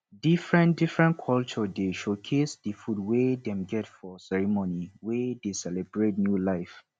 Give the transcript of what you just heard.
differentdifferent culture dey showcase di food wey dem get for ceremony wey dey celebrate new life